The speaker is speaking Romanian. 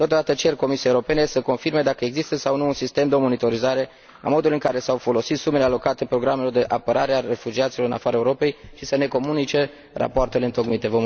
Totodată cer Comisiei Europene să confirme dacă există sau nu un sistem de monitorizare a modului în care s au folosit sumele alocate programelor de apărare a refugiaților în afara Europei și să ne comunice rapoartele întocmite.